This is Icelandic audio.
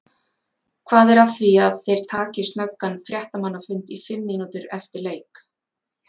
Hvað er að því að þeir taki snöggan fréttamannafund í fimm mínútur eftir leik?